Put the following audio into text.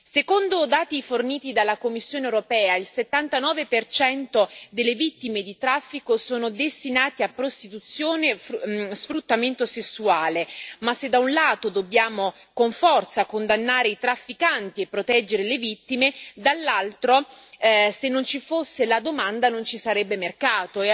Secondo dati forniti dalla Commissione europea il 79 delle vittime di traffico sono destinate a prostituzione e sfruttamento sessuale, ma se da un lato dobbiamo con forza condannare i trafficanti e proteggere le vittime, dall'altro se non ci fosse la domanda non ci sarebbe mercato.